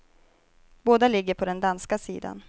Båda ligger på den danska sidan.